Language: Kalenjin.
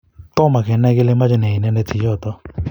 tomo kenai kele machoi nee inendet jichoto.